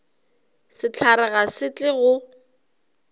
sehlare ga se tle go